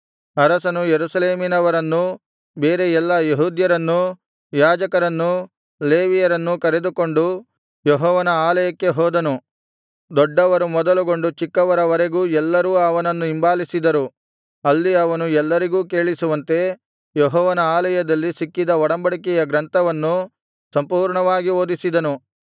ಅರಸನು ಯೆರೂಸಲೇಮಿನವರನ್ನೂ ಬೇರೆ ಎಲ್ಲಾ ಯೆಹೂದ್ಯರನ್ನೂ ಯಾಜಕರನ್ನೂ ಲೇವಿಯರನ್ನೂ ಕರೆದುಕೊಂಡು ಯೆಹೋವನ ಆಲಯಕ್ಕೆ ಹೋದನು ದೊಡ್ಡವರು ಮೊದಲುಗೊಂಡು ಚಿಕ್ಕವರವರೆಗೂ ಎಲ್ಲರೂ ಅವನನ್ನು ಹಿಂಬಾಲಿಸಿದರು ಅಲ್ಲಿ ಅವನು ಎಲ್ಲರಿಗೂ ಕೇಳಿಸುವಂತೆ ಯೆಹೋವನ ಆಲಯದಲ್ಲಿ ಸಿಕ್ಕಿದ ಒಡಂಬಡಿಕೆಯ ಗ್ರಂಥವನ್ನು ಸಂಪೂರ್ಣವಾಗಿ ಓದಿಸಿದನು